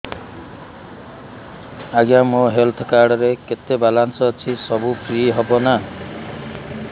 ଆଜ୍ଞା ମୋ health card ରେ କେତେ ବାଲାନ୍ସ ଅଛି ସବୁ ଫ୍ରି ହବ ନାଁ